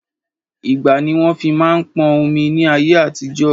Igbá ni wọn fi máa ń pọn omi ni ayé àtijọ́